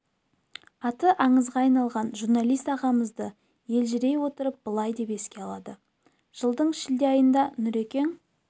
аты аңызға айналған журналист ағамызды елжірей отырып былай деп еске алады жылдың шілде айында нұрекең